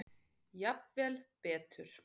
Jafnvel betur.